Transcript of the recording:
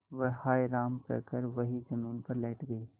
वह हाय राम कहकर वहीं जमीन पर लेट गई